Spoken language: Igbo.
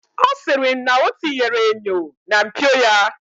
Ọ sịrị m na ọ tinyere enyo na mpio ya.